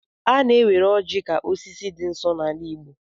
A na-ewere ọjị ka osisi dị nsọ n'ala igbo.